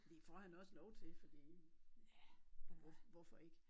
Det får han også lov til fordi hvor hvorfor ikke